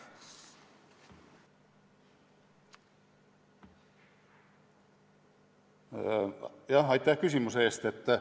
Jah, aitäh küsimuse eest!